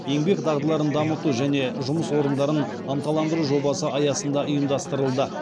еңбек дағдыларын дамыту және жұмыс орындарын ынталандыру жобасы аясында ұйымдастырылды